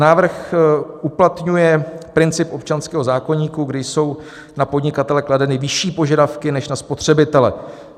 Návrh uplatňuje princip občanského zákoníku, kdy jsou na podnikatele kladeny vyšší požadavky než na spotřebitele.